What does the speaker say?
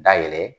Dayɛlɛ